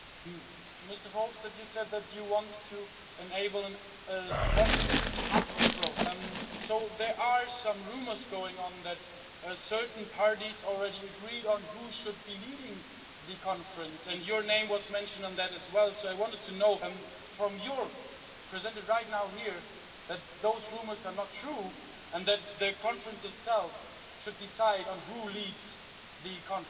Mr Verhofstadt, you said that you want to enable a bottom-up approach. So, there are some rumours going on that certain parties already agreed on who should be leading the conference and your name was mentioned on that as well, so I wanted to know from you, presented right now here, that those rumours are not true and that the conference itself should decide on who leads the conference.